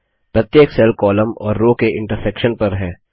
प्रत्येक cell column और row के इंटर्सेक्शन पर है